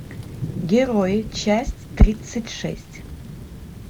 герои часть тридцать шесть